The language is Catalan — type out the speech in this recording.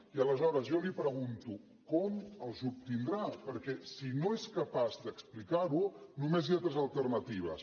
i aleshores jo li pregunto com els obtindrà perquè si no és capaç d’explicarho només hi ha tres alternatives